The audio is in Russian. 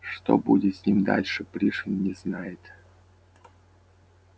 что будет с ним дальше пришвин не знает